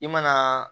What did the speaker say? I mana